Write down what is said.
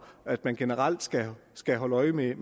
at man generelt skal skal holde øje med